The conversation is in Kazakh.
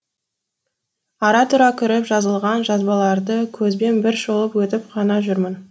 ара тұра кіріп жазылған жазбаларды көзбен бір шолып өтіп қана жүрмін